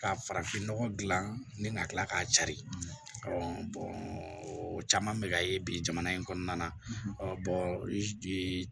Ka farafinnɔgɔ dilan ni na kila k'a cari o caman bɛ ka ye bi jamana in kɔnɔna na